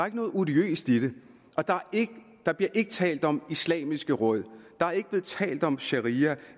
ikke noget odiøst i det og der bliver ikke talt om islamiske råd der er ikke blevet talt om sharia